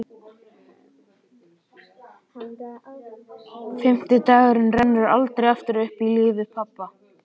Fimmti dagurinn rennur aldrei aftur upp í lífi pabba.